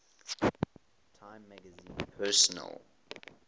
time magazine persons